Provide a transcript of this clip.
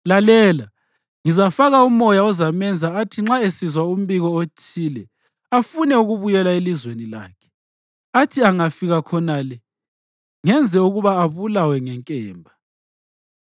Lalela! Ngizafaka umoya ozamenza athi nxa esizwa umbiko othile, afune ukubuyela elizweni lakhe, athi angafika khonale ngenze ukuba abulawe ngenkemba.’ ”